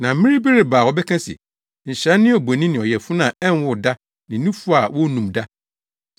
Na mmere bi reba a wɔbɛka se, ‘Nhyira ne abonin ne ɔyafunu a ɛnwoo da ne nufu a wonnum da.’